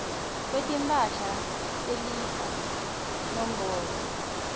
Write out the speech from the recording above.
kwetimphahla telifa nombolo